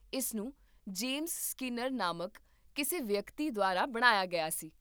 ਇਸ ਨੂੰ James Skinner ਨਾਮਕ ਕਿਸੇ ਵਿਅਕਤੀ ਦੁਆਰਾ ਬਣਾਇਆ ਗਿਆ ਸੀ